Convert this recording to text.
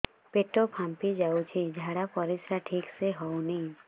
ପେଟ ଫାମ୍ପି ଯାଉଛି ଝାଡ଼ା ପରିସ୍ରା ଠିକ ସେ ହଉନି